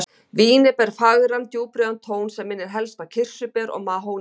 Vínið ber fagran djúprauðan tón sem minnir helst á kirsuber og mahónívið.